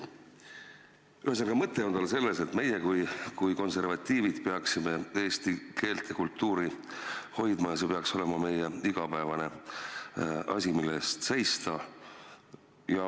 Ühesõnaga, mõte on tal selles, et meie kui konservatiivid peaksime eesti keelt ja kultuuri hoidma ja see peaks olema igapäevane asi, mille eest seista.